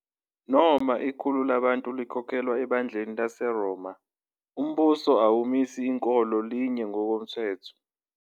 Noma ikhulu labantu likholelwa ebandleni laseRoma, umbuso awumisi inkolo linye ngokwomthetho.